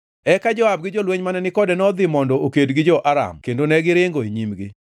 Eka Joab gi jolweny mane ni kode nodhi mondo oked gi jo-Aram kendo negiringo e nyimgi.